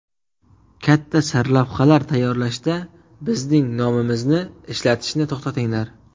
Katta sarlavhalar tayyorlashda bizning nomimizni ishlatishni to‘xtatinglar.